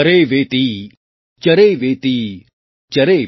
चरैवेति चरैवेति चरैवेति |